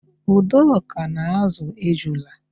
Udoka na-ázụ̀ ejula.